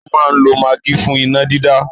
Wọ́n máa n lo magí fún iná dídá